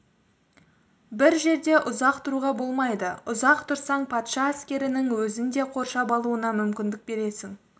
бір жерде ұзақ тұруға болмайды ұзақ тұрсаң патша әскерінің өзіңді қоршап алуына мүмкіндік бересің